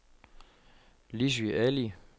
Lissy Ali